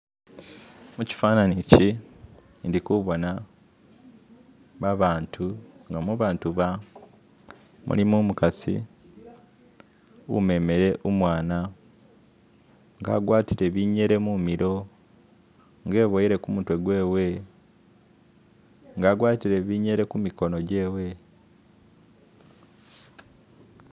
Mukifananyi ki ndikubona babantu nga mubantu ba mulimo umukasi umemele umwana nga a'gwatile binyele mumilo nga eboyelo kumutwe gwewe nga a'gwatile binyele ku mikono gwewe .